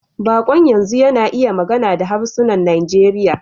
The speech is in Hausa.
Baƙon yanzu yana iya magana da harsunan Najeriya.